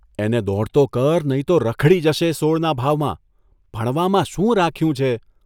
એને દોડતો કર, નહીં તો રખડી જશે સોળના ભાવમાં ભણવામાં શું રાખ્યું છે.